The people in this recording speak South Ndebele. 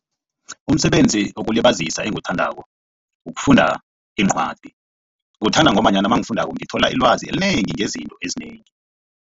Umsebenzi wokulibazisa engiwuthandako ukufunda iincwadi ngiwuthanda ngombanyana mangifundako ngithola ilwazi elinengi ngezinto ezinengi.